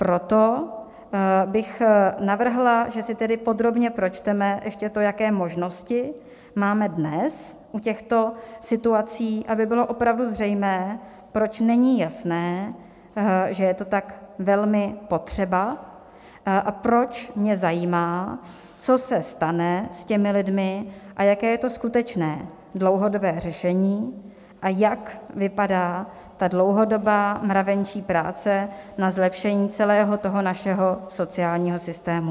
Proto bych navrhla, že si tedy podrobně pročteme ještě to, jaké možnosti máme dnes u těchto situací, aby bylo opravdu zřejmé, proč není jasné, že je to tak velmi potřeba, a proč mě zajímá, co se stane s těmi lidmi a jaké je to skutečné dlouhodobé řešení a jak vypadá ta dlouhodobá mravenčí práce na zlepšení celého toho našeho sociálního systému.